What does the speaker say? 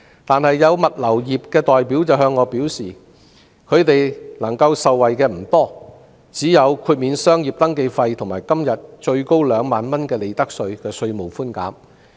然而，有物流業的代表向我表示，他們能夠受惠的不多，只有豁免商業登記費和今天最高2萬元的利得稅稅務寬免。